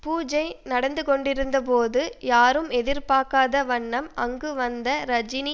பூஜை நடந்து கொண்டிருந்த போது யாரும் எதிர்பார்க்காத வண்ணம் அங்கு வந்த ரஜினி